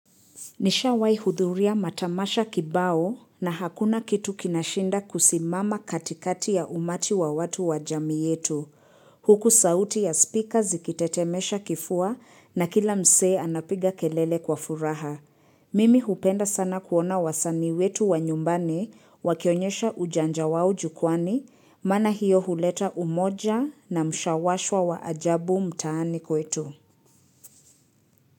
Nisha wai hudhuria matamasha kibao na hakuna kitu kinashinda kusimama katikati ya umati wa watu wa jami yetu. Huku sauti ya speaker zikitetemesha kifua na kila msee anapiga kelele kwa furaha. Mimi hupenda sana kuona wasani wetu wa nyumbani wakionyesha ujanja wau jukwani, maana hiyo huleta umoja na mshawashwa wa ajabu mtaani kwetu.